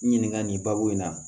Ɲininka nin baabu in na